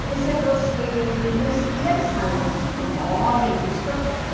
Por exemplo, eh não existia salão como hoje nem discoteca.